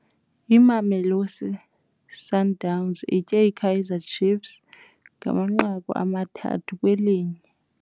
Imamelosi Sundowns itye iKaizer Chiefs ngamanqaku amathathu kwelinye.